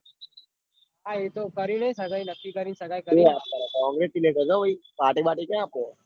હા એતો કરીને સગાઇ નક્કી કરી સગાઇ કરીં congratulation હો ભાઈ party બર્ટી ક્યાં આપો